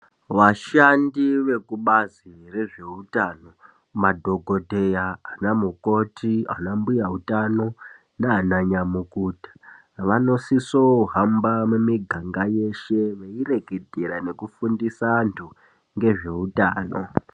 Vashandi vekubazi rezvehutano madhokodheya ana mukoti ana mbuya utano nana nyamukuta vanosisa kuhamba mumiganga yeshe veirongedzera nekufundisa antu nezvehutano.